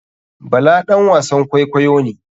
Bala ɗan wasan kwaikwayo ne.